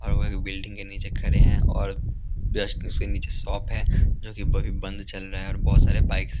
building के नीचे खड़े हैं और जस्ट उसके नीचे शॉप है जोकि बभी बंद चल रहा है बहुत सारे बाइक्स --